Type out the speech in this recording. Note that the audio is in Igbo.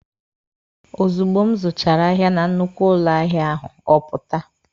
Ozugbo m zụchara ahịa na nnukwu ụlọ ahịa ahụ, ọ pụta.